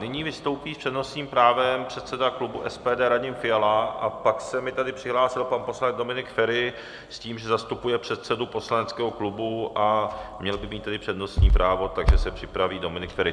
Nyní vystoupí s přednostním právem předseda klubu SPD Radim Fiala a pak se mi tady přihlásil pan poslanec Dominik Feri s tím, že zastupuje předsedu poslaneckého klubu, a měl by mít tedy přednostní právo, takže se připraví Dominik Feri.